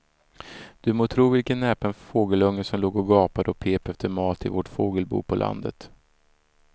Du må tro vilken näpen fågelunge som låg och gapade och pep efter mat i vårt fågelbo på landet.